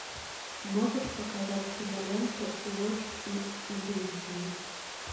можешь показать киноленту ложь и иллюзии